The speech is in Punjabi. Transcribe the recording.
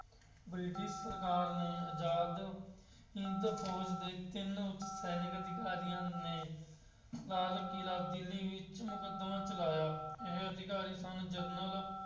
ਬ੍ਰਿਟਿਸ਼ ਸਰਕਾਰ ਨੇ ਆਜ਼ਾਦ ਹਿੰਦ ਫੌਜ ਦੇ ਤਿੰਨ ਉੱਚ ਸੈਨਿਕ ਅਧਿਕਾਰੀਆਂ ਨੇ ਲਾਲ ਕਿਲਾ ਦਿੱਲੀ ਵਿੱਚ ਮੁਕੱਦਮਾ ਚਲਾਇਆ। ਇਹ ਸੀਗਾ ਹਰੀਸਨ ਜਰਨਲ